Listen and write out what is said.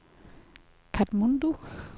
Katmandu